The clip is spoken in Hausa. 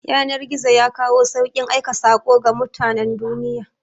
Yanar-gizo yakawo saukin aika sako ga mutanan duniya